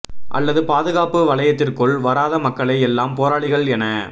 அல்லது பாதுகாப்பு வளையத்திற்குள் வராத மக்களை எல்லாம் போராளிகள் என